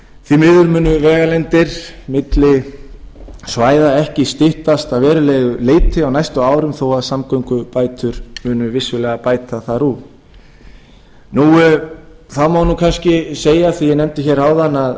því miður munu vegalengdir milli svæða ekki styttast að verulegu leyti á næstu árum þó að samgöngubætur munu vissulega bæta þar úr þá má kannski segja af því að ég nefndi áðan